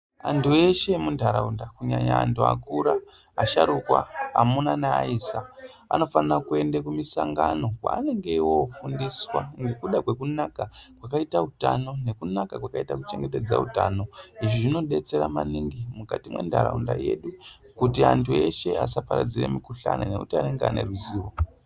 Anthu eshe emuntharaunda, kunyanya anthu akura, asharukwa, amuna neaisa, anofanire kuende mumamisangano, kweanenge eyoofundiswa ngekuda kwekunaka kwakaita utano, nekunaka kwakaita kuchengetedze utano. Izvi zvinodetsera maningi mukati mwentharaunda yedu, kuti anthu eshe asaparadzire mikhuhlana ngekuti anenge ane ruzivo.